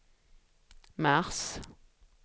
mars